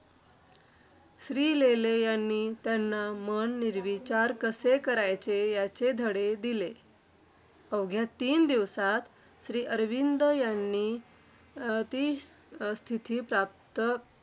श्रीलेले यांनी त्यांना मन निर्विचार कसे करायचे, याचे धडे दिले. अवघ्या तीन दिवसांत, श्री अरविंद यांनी अं ती अं स्थिती प्राप्त